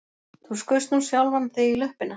Þú skaust nú sjálfan þig í löppina